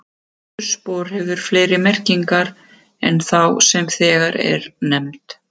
Pétursspor hefur fleiri merkingar en þá sem þegar er nefnd.